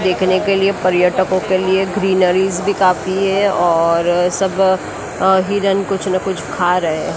देखने के लिए पर्यटकों के लिए ग्रीनरीज़ भी काफी है और सब अह हिरन कुछ ना कुछ खा रहे हैं।